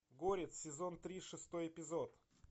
горец сезон три шестой эпизод